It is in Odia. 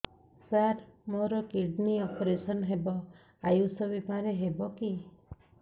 ସାର ମୋର କିଡ଼ନୀ ଅପେରସନ ହେବ ଆୟୁଷ ବିମାରେ ହେବ କି